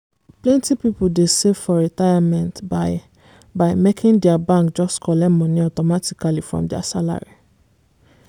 plenty people dey save for retirement by by making dia bank just collect money automatically from dia salary.